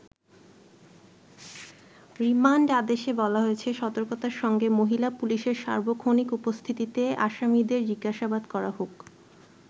Remand আদেশে বলা হয়েছে, সতর্কতার সঙ্গে মহিলা পুলিশের সার্বক্ষণিক উপস্থিতিতে আসামিদের জিজ্ঞাসাবাদ করা হোক।